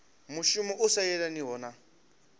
mushumo u sa yelaniho na